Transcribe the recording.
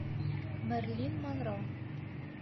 мэрилин монро